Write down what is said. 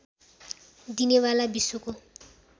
दिने वाला विश्वको